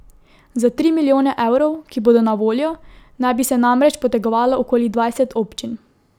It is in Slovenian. Za tri milijone evrov, ki bodo na voljo, naj bi se namreč potegovalo okoli dvajset občin.